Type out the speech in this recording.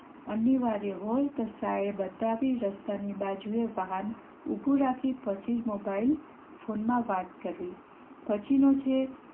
અનિવાર્ય હોય તો સાઈડ બતાવી બાજુએ વાહન ઉભું રાખી પછી જ મોબાઈલ ફોન માં વાત કરવી પછી નો છે